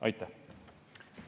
Aitäh!